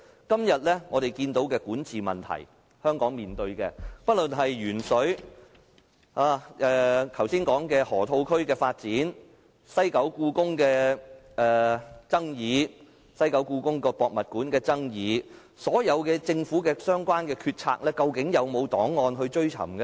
今天我們看到香港面對的管治問題，不論是鉛水、剛才說的河套區發展、西九香港故宮文化博物館的爭議等，又或所有政府的相關決策，究竟有沒有檔案可以追尋呢？